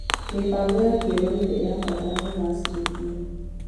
Mĩbango ya kĩrũrĩrĩ ĩrabata kũgacĩrithio.